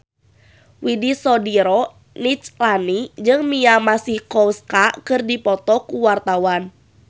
Widy Soediro Nichlany jeung Mia Masikowska keur dipoto ku wartawan